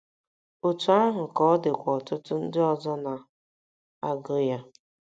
Otú ahụ ka ọ dịkwa ọtụtụ ndị ọzọ na - agụ ya.